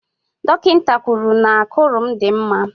Dọkịta kwuru n'ákụ̀rụ̀ m dị mma.